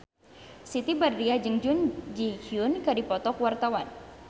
Siti Badriah jeung Jun Ji Hyun keur dipoto ku wartawan